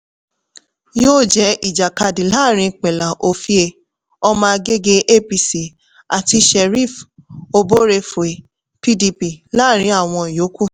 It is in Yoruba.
yóò jẹ́ ìjàkadì láàárín pela ovie ọmọ-agége apc àti sheriff oborevwori pdp láàrin àwọn ìyókù.